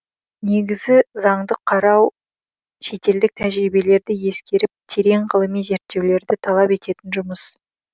негізі заңды қарау шетелдік тәжірибелерді ескеріп терең ғылыми зерттеулерді талап ететін жұмыс